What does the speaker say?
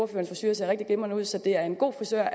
frisure ser rigtig glimrende ud så det er en god frisør